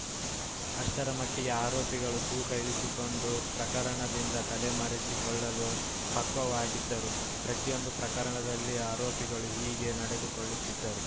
ಅಷ್ಟರ ಮಟ್ಟಿಗೆ ಆರೋಪಿಗಳು ತೂಕ ಇಳಿಸಿಕೊಂಡು ಪ್ರಕರಣದಿಂದ ತಲೆಮರೆಸಿಕೊಳ್ಳಲು ಪಕ್ವವಾಗಿದ್ದರು ಪ್ರತಿಯೊಂದು ಪ್ರಕರಣದಲ್ಲಿ ಆರೋಪಿಗಳು ಹೀಗೆ ನಡೆದುಕೊಳ್ಳುತ್ತಿದ್ದರು